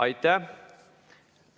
Aitäh!